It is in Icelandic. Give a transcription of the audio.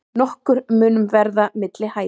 Nokkur munur verði milli hæða.